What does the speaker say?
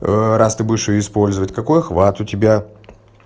раз ты будешь её использовать какой охват у тебя